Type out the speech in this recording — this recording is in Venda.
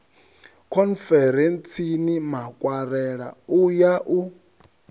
khonferentsini makwarela u ya u